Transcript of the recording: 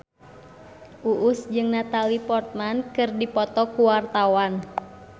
Uus jeung Natalie Portman keur dipoto ku wartawan